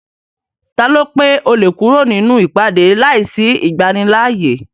Taló pé o lè kúrò nínú ìpàdé láìsí ìgbanilááyè?